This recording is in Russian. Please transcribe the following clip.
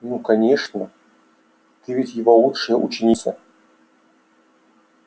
ну конечно ты ведь его лучшая ученица